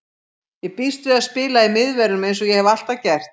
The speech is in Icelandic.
Ég býst við að spila í miðverðinum eins og ég hef alltaf gert.